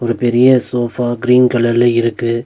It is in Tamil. ஒரு பெரிய சோஃபா க்ரீன் கலர்ல இருக்கு.